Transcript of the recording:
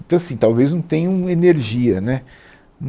Então, assim, talvez não tenham energia, né?